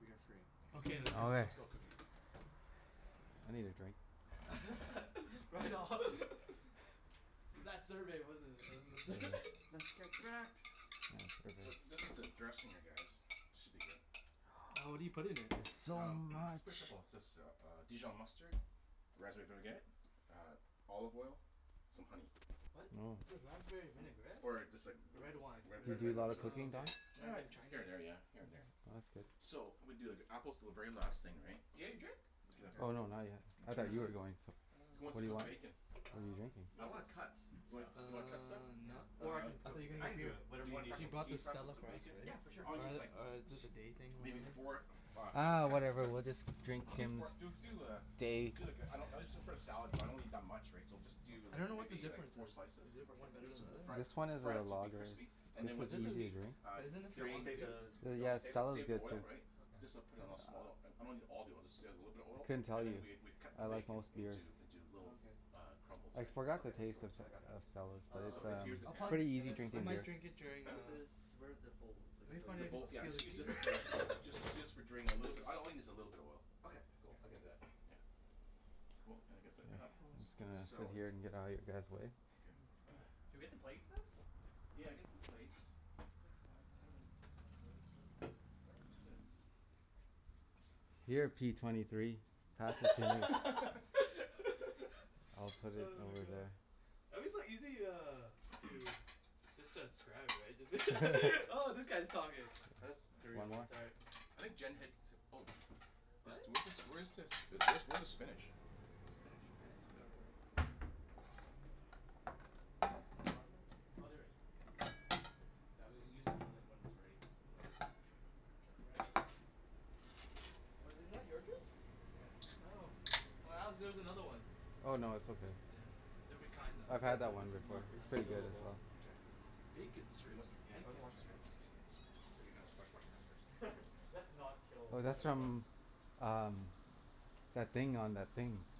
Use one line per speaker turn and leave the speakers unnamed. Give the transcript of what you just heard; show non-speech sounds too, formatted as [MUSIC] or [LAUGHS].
We are free.
Okay.
Let's go cook it.
I need a drink.
Yes.
[LAUGHS] Right on. [LAUGHS] It's that survey, wasn't it? It was the sur-
Let's
[LAUGHS]
get cracked.
So,
[INAUDIBLE]
this is the dressing, I guess. This should be good.
[NOISE]
Oh, what do you put in
It's
it?
so
Um [NOISE] it's
much.
pretty simple. It's just uh dijon mustard, raspberry vinaigrette, uh olive oil, some honey.
What? Is it
[NOISE]
raspberry vinaigrette?
Or just like
The red
[NOISE]
wine
Re-
Do
red wine
you do a lot
[NOISE]
of
Oh,
vinaigrette.
cooking, Don?
okay.
Uh,
Very
here
Chinese.
and there, yeah. Here and there.
That's good.
So, I'm gonna do, like, apples are the very last thing, right?
Yeah, you drink?
Oh,
Okay.
no. Not yet. I thought you were going to.
Who wants
What
to
do you
cook
want?
bacon?
What are you
Um,
drinking?
You
I
wanna
wanna cut
cook,
stuff
Uh
like You wanna cut stuff?
Yeah.
not now.
Or I can
I
cook
thought
it.
you're
I
gonna
can
get
do
you
it.
Do
Whatever
you
you
wanna
need
fry
He
some,
me
bought
can
the
fry up
Stella
some
for us,
bacon?
right?
Yeah. For sure.
All you need
Or
is
the,
like
or did the day thing,
Maybe
whatever.
four of uh
Uh,
cut
whatever
cut
we'll just drink
Do
Kim's
four do do uh
day.
Do like a, I don't, it's just for a salad, so I don't need that much, right. So just do
I
like,
don't know what the
maybe like
difference
four
is.
slices.
Is it
Four
one better than
slices?
the
[NOISE]
other?
Fry it
This one is
fry
one of
it
the
to be
lagers.
crispy. And
But this
then once
is,
crispy, uh
but isn't
Do
this
you want
some
me to
drain
other
save the,
dude?
do you want me
Yeah,
to
s-
save it?
s-
salad's
save the
good too.
oil, right.
Okay.
Just uh, put it in a small. I'm not a need all the oil. Just add a little bit of
I
oil.
couldn't tell
And
you.
then we we'd cut the
I like
bacon
most beers.
into, into little
Oh okay.
uh crumbles,
I
right.
forgot the
Okay. That's
taste
cool.
of
I got that.
of Stella's. But
Um.
So
it's
it's, here's the pan.
um pretty
And
easy
then
I
where
drinking
does
might
beer.
drink during
where
uh,
does, where're the bowls? I guess
it'd be
I'll
funny
The
use
if I'd
one.
bowl, yeah,
steal
just
a
use
k-
this for, just
[LAUGHS]
need to use for drain, a little bit. All I need is a little bit of oil.
Okay. Cool. I can do that.
[NOISE] Yeah, cool. And then get the
Just
apples.
gonna sit
Salt
here and get out of your guys' way.
Okay. [NOISE]
Can we get the plates then?
Yeah. Get some plates. Yeah, it's fine,
I
I
don't
dunno
know,
[NOISE]
uh where are his plates? Oh yeah.
Here, P twenty three. [INAUDIBLE] I'll
[LAUGHS] [NOISE]
put it
Oh my
over
god!
there.
I'm just like easy uh, to just transcribe, right? [LAUGHS] Oh, that guy's talking. That's three
One more.
almost. All right.
I think Jen hits, oh sh- This
What?
do- where's this where's this, where's the spinach?
Spinach? I'm not sure.
In the bottom right there?
Oh, there it is. Okay. That's good. Now, we'll use when that when it's ready, or I guess, [NOISE] Get around there
Was it not your drink?
Yeah.
Oh. Oh, Alex, there's another one.
Oh, no. It's okay.
Yeah. Different kind
I've
though.
had that
This
one
is
before.
not
It's pretty good as
resealable.
well.
Okay.
Bacon
What
strips.
[NOISE] yeah.
Bacon strips.
Clean your hands. Wash wash your hands first.
[LAUGHS] Let's not
Well
kill
that's from
everyone.
um that thing on that